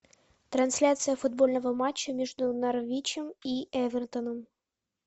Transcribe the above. трансляция футбольного матча между норвичем и эвертоном